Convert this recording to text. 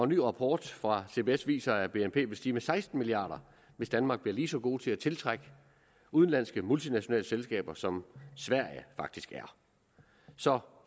ny rapport fra cbs viser at bnp vil stige med seksten milliard hvis danmark bliver lige så gode til at tiltrække udenlandske multinationale selskaber som sverige faktisk er så